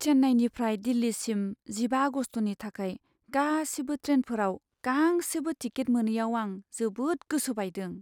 चेन्नाईनिफ्राय दिल्लीसिम जिबा आगस्तनि थाखाय गासिबो ट्रेनफोराव गांसेबो टिकेट मोनैयाव आं जोबोद गोसो बायदों।